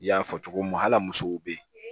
I y'a fɔ cogo min hal'a musow bɛ yen